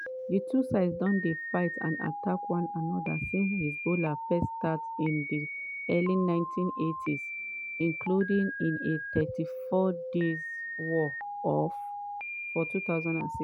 di two sides don fight and attack one anoda since hezbollah first start in di early 1980s including in a 34-day war for 2006.